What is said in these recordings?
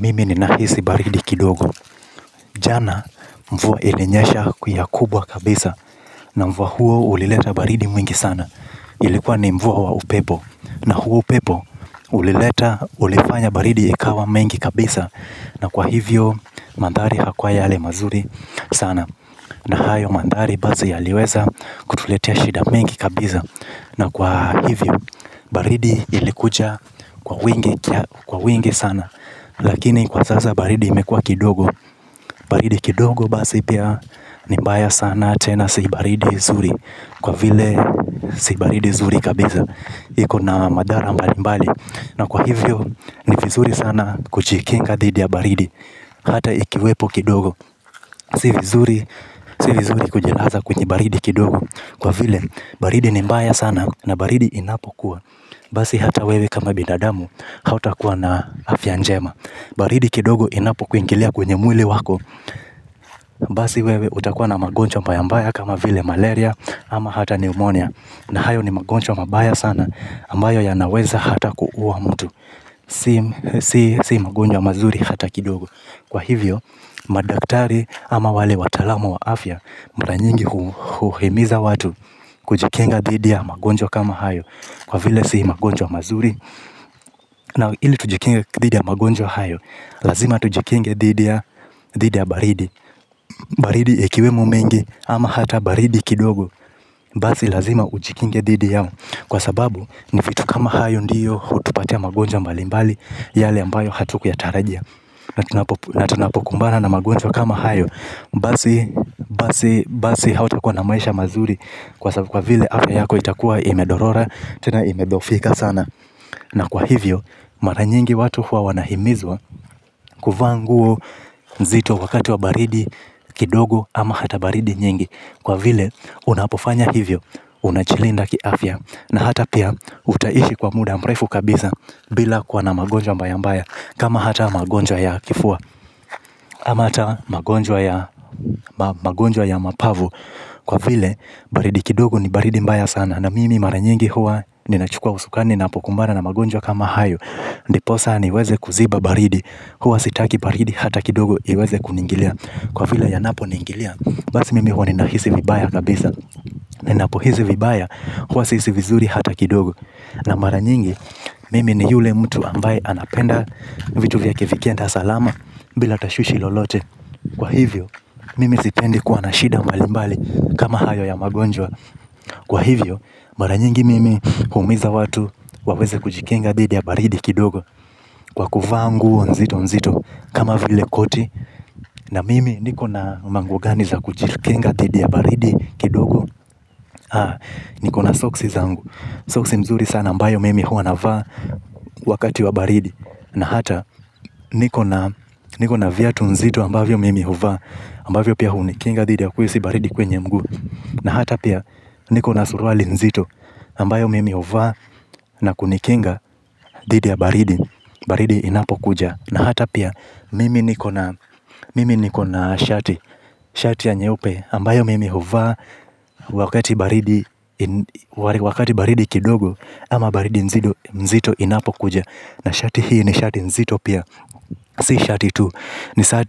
Mimi ninahisi baridi kidogo. Jana mvua ilinyasha ku ya kubwa kabisa. Na mvua huo ulileta baridi mwingi sana. Ilikuwa ni mvua wa upepo. Na huo upepo ulileta ulifanya baridi ikawa mengi kabisa. Na kwa hivyo mandhari yanakua yale mazuri sana. Na hayo mandhari basi yaliweza kutuletea shida mengi kabisa. Na kwa hivyo baridi ilikuja kwa wingi sana. Lakini kwa sasa baridi imekua kidogo. Baridi kidogo basi pia ni mbaya sana tena si baridi zuri. Kwa vile si baridi zuri kabisa. Iko na madhara mbalimbali. Na kwa hivyo ni vizuri sana kuchikinga dhidi ya baridi. Hata ikiwepo kidogo. Si vizuri kujilaza kwenye baridi kidogo. Kwa vile baridi ni mbaya sana na baridi inapokuwa basi hata wewe kama binadamu hautakuwa na afya njema. Baridi kidogo inapokuingilia kwenye mwili wako basi wewe utakuwa na magonjwa mbaya mbaya kama vile malaria ama hata pneumonia. Na hayo ni magonjwa mabaya sana ambayo yanaweza hata kuua mtu. Si si si magonjwa mazuri hata kidogo. Kwa hivyo madaktari ama wale wataalamu wa afya mara nyingi huhimiza watu kujikinga dhidi ya magonjwa kama hayo. Kwa vile si magonjwa mazuri na ili tujikinge dhidi ya magonjwa hayo lazima tujikinge didi ya baridi. Baridi ikiwemo mengi ama hata baridi kidogo basi lazima ujikinge didi yao. Kwa sababu ni vitu kama hayo ndiyo hutupatia magonjwa mbalimbali. Yale ambayo hatukuyatarajia. Na tunapokumbana na magonjwa kama hayo basi hautakuwa na maisha mazuri. Kwa sababu kwa vile afya yako itakuwa imedorora. Tena imedhohofika sana. Na kwa hivyo mara nyingi watu huwa wanahimizwa. Kuvaa nguo nzito wakati wa baridi kidogo ama hata baridi nyingi. Kwa vile unapofanya hivyo unachilinda kiafya. Na hata pia utaishi kwa muda mrefu kabisa. Bila kuwa na magonjwa mbayambaya. Kama hata magonjwa ya kifua ama hata magonjwa ya mapavu. Kwa vile baridi kidogo ni baridi mbaya sana. Na mimi mara nyingi huwa ninachukua usukani napokumbana na magonjwa kama hayo. Ndiposa niweze kuziba baridi. Huwa sitaki paridi hata kidogo iweze kuningilia kwa vila yanaponiingilia basi mimi huwa ninahisi vibaya kabisa. Ninapohisi vibaya huwa sihisi vizuri hata kidogo. Na mara nyingi mimi ni yule mtu ambaye anapenda vitu vya kivikenda salama. Bila tashwishi lolote. Kwa hivyo mimi sipendi kuwa na shida mbalimbali kama hayo ya magonjwa. Kwa hivyo mara nyingi mimi huhimiza watu waweze kujikinga dhidi ya baridi kidogo. Kwa kuvaa nguo nzito nzito. Kama vile koti. Na mimi niko na manguo gani za kujilikinga dhidi ya baridi kidogo. Haa, niko na soksi zangu. Soksi mzuri sana ambayo mimi huwa navaa. Wakati wa baridi na hata niko na viatu nzito ambavyo mimi huvaa ambavyo pia hunikinga dhidi ya kuhisi baridi kwenye mguu. Na hata pia niko na suruali nzito ambayo mimi huvaa na kunikinga dhidi ya baridi. Baridi inapokuja na hata pia mimi niko na mimi niko na shati. Shati ya nyeupe ambayo mimi huva. Wakati baridi wakati baridi kidogo ama baridi nzito inapokuja. Na shati hii ni shati nzito pia. Si shati tu.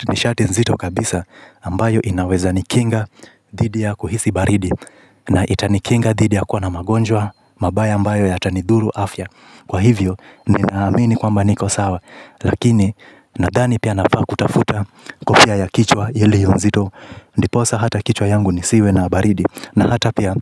Ni shati nzito kabisa ambayo inawezanikinga dhidi ya kuhisi baridi. Na itanikinga dhidi ya kuwa na magonjwa. Mabaya ambayo yatanidhuru afya. Kwa hivyo ninaamini kwamba niko sawa. Lakini nadhani pia nafaa kutafuta kofia ya kichwa iliyonzito. Ndiposa hata kichwa yangu nisiwe na baridi. Na hata pia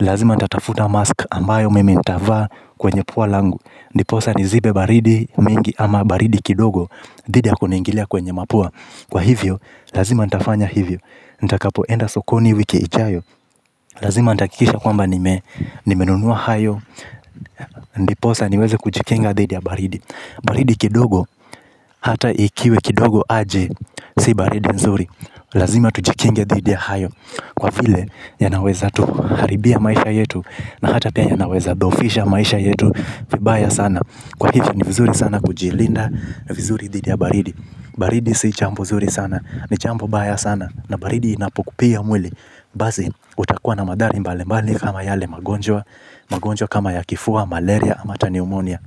lazima ntatafuta mask ambayo mimi nitavaa kwenye pua langu. Ndiposa nizibe baridi mingi ama baridi kidogo. Dhidi ya kuniingilia kwenye mapua. Kwa hivyo lazima ntafanya hivyo. Ntakapoenda sokoni wiki ijayo. Lazima ntakikisha kwamba nime nimenunua hayo. Ndiposa niweze kujikinga dhidi ya baridi. Baridi kidogo hata ikiwe kidogo aje. Si baridi nzuri. Lazima tujikinge dhidi ya hayo. Kwa vile yanaweza tuharibia maisha yetu. Na hata pia yanaweza dhohofisha maisha yetu. Vibaya sana. Kwa hivyo ni vizuri sana kujilinda. Vizuri dhidi ya baridi. Baridi si chambo zuri sana. Ni chambo baya sana. Na baridi inapokupiga mwili. Bazi utakua na madhari mbalimbali kama yale magonjwa. Magonjwa kama ya kifua malaria ama hata niumonia.